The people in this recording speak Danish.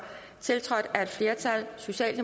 tiltrådt af et flertal